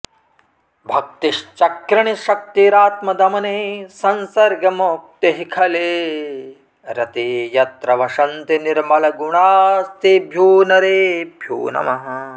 भक्तिश्चक्रिणि शक्तिरात्मदमने संसर्गमुक्तिः खले रते यत्र वसन्ति निर्मलगुणास्तेभ्यो नरेभ्यो नमः